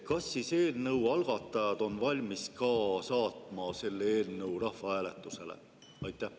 Kas siis on eelnõu algatajad valmis saatma selle eelnõu rahvahääletusele?